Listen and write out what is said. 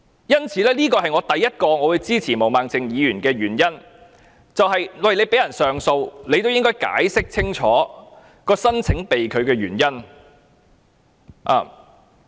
這是我支持毛孟靜議員的議案的第一個原因，既然政府允許被拒人士上訴，就要解釋清楚申請被拒的原因。